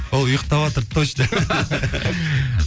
ол ұйқтаватыр точно